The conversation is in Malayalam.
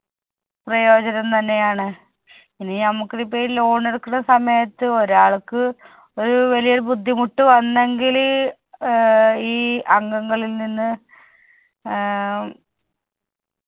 പ്രയോജനം തന്നെയാണ്. ഇനി നമ്മുക്കിത് ഇപ്പോഴ് loan എടുക്കണ സമയത്ത് ഒരാൾക്ക് ഒരു വലിയൊരു ബുദ്ധിമുട്ട് വന്നെങ്കില് ഏർ ഈ അംഗങ്ങളിൽ നിന്ന് ഏർ